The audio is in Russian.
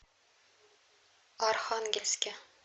архангельске